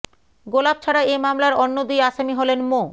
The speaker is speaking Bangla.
গোলাপ ছাড়া এ মামলার অন্য দুই আসামি হলেন মো